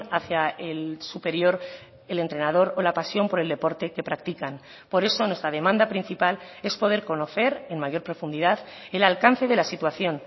hacia el superior el entrenador o la pasión por el deporte que practican por eso nuestra demanda principal es poder conocer en mayor profundidad el alcance de la situación